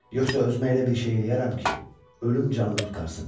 Yoxsa özümə elə bir şey eləyərəm ki, ölüm canımı qurtarsın.